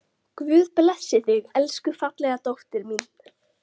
Guð blessi þig, elsku fallega dóttir mín.